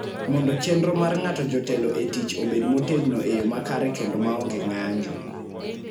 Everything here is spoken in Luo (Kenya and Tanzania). mondo chenro mar nga'to jotelo e tich obed motegno e yo makare kendo maonge ng'anjo."